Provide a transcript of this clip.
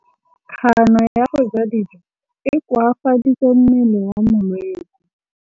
Kganô ya go ja dijo e koafaditse mmele wa molwetse.